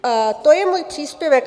To je můj příspěvek.